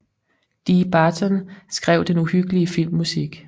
Dee Barton skrev den uhyggelige filmmusik